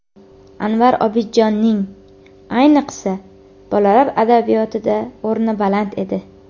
Anvar Obidjonning, ayniqsa, bolalar adabiyotida o‘rni baland edi.